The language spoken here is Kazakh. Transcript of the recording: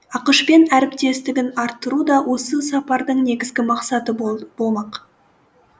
ақш пен әріптестігін арттыру да осы сапардың негізгі мақсаты болды болмақ